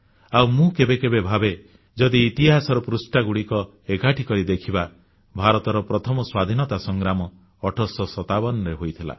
ଆଉ ମୁଁ କେବେ କେବେ ଭାବେ ଯଦି ଇତିହାସର ପୃଷ୍ଠାଗୁଡ଼ିକ ଏକାଠି କରି ଦେଖିବା ଭାରତର ପ୍ରଥମ ସ୍ୱାଧୀନତା ସଂଗ୍ରାମ 1857ରେ ହୋଇଥିଲା